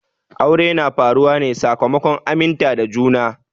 Aure na faruwa ne sakamakon aminta da juna.